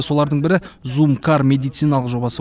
солардың бірі зумкар медициналық жобасы